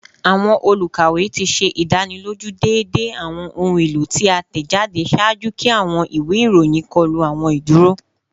Awọn olukawe ti ṣe idaniloju deede awọn ohun elo ti a tẹjade ṣaaju ki awọn iwe iroyin kọlu awọn iduro